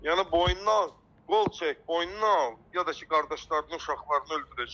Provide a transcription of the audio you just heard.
Yəni boynuna al, qol çək boynuna al, ya da ki, qardaşlarının uşaqlarını öldürəcəm.